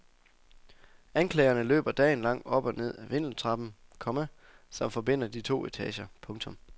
Anklagerne løber dagen lang op og ned af vindeltrappen, komma som forbinder de to etager. punktum